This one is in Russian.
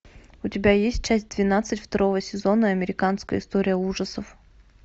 у тебя есть часть двенадцать второго сезона американская история ужасов